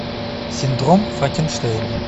синдром франкенштейна